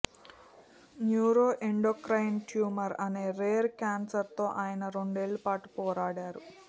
neuro endocrine tumour అనే rare క్యాన్సర్తో ఆయన రెండేళ్ల పాటు పోరాడారు